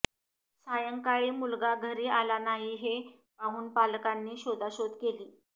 सायंकाळी मुलगा घरी आला नाही हे पाहून पालकांनी शोधाशोध केली